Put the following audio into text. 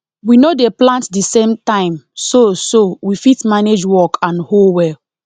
we no dey plant the same time so so we fit manage work and hoe well